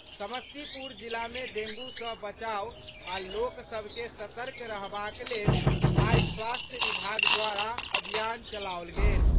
समस्तीपुर जिला मे डेंगू सॅ बचाव आ लोक सभ के सतर्क रहबाक लेल आइ स्वास्थ्य विभाग द्वारा अभियान चलाओल गेल।